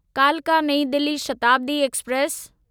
कालका नईं दिल्ली शताब्दी एक्सप्रेस